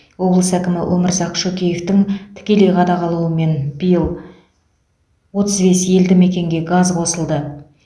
облыс әкімі өмірзақ шөкеевтің тікелей қадағалауымен биыл отыз бес елді мекенге газ қосылды